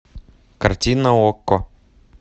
картина окко